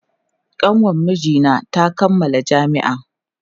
Kanwar mijina ta kammala jami'a.